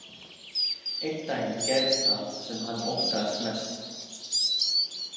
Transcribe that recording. Einn daginn gerðist það svo sem hann óttaðist mest.